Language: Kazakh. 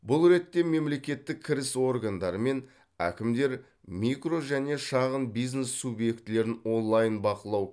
бұл ретте мемлекеттік кіріс органдары мен әкімдер микро және шағын бизнес субъектілерін онлайн бақылау